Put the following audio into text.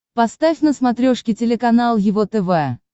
поставь на смотрешке телеканал его тв